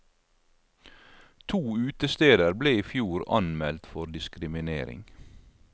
To utesteder ble i fjor anmeldt for diskriminering.